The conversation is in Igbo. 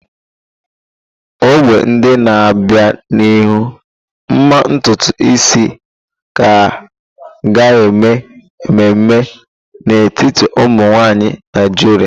Ọgbọ ndị na-abịa n'ihu, mma ntutu isi ka ga-eme ememe n'etiti ụmụ nwanyị Naijiria.